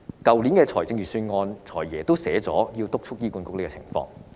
去年的預算案，"財爺"已提出要督促醫管局改善這個情況。